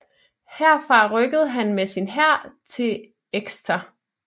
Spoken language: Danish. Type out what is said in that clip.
Herfra rykkede han med sin hær til Exeter